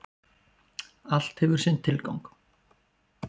Allt hefur sinn tilgang.